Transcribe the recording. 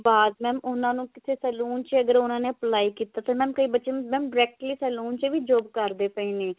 ਬਾਅਦ mam ਉਹਨਾਂ ਨੂੰ ਕਿਸੇ salon ਚ ਅਗਰ ਉਹਨਾਂ ਨੇ apply ਕੀਤਾ ਤੇ mam ਕਈ ਬੱਚੇ ਨੂੰ mam directly salon ਚ ਵੀ job ਕਰਦੇ ਪਏ ਨੇ